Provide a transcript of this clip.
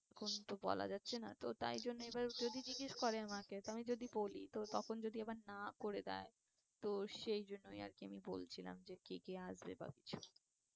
এখন তো বলা যাচ্ছে না তো তাই জন্য এবার যদি জিজ্ঞেস করে আমাকে তো আমি যদি বলি তো তখন যদি আবার না করে দেয় তো সেই জন্যই আর কি আমি বলাছিলাম যে কে কে আসবে